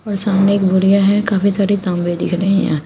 और सामने एक बोरिया है और काफी सारी तांबे दिख रहे यहा।